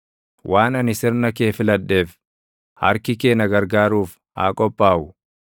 Waan ani sirna kee filadheef, harki kee na gargaaruuf haa qophaaʼu.